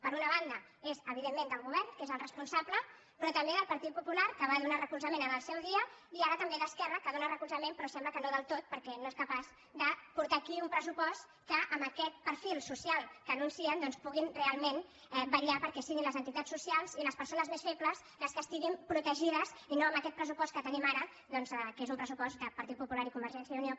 per una banda és evidentment del govern que és el responsable però també del par·tit popular que li va donar recolzament en el seu dia i ara també d’esquerra que li dóna recolzament pe·rò sembla que no del tot perquè no són capaços de portar aquí un pressupost amb què amb aquest perfil social que anuncien puguin realment vetllar perquè si·guin les entitats socials i les persones més febles les que estiguin protegides i no amb aquest pressupost que tenim ara que és un pressupost del partit popular i convergència i unió